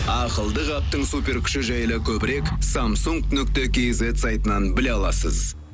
ақылды қаптың суперкүші жайлы көбірек самсунг нүкте кизет сайтынан біле аласыз